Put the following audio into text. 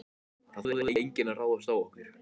Það þorði enginn að ráðast á okkur.